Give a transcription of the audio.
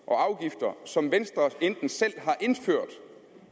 og afgifter som venstre enten selv har indført